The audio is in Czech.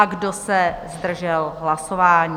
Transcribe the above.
A kdo se zdržel hlasování?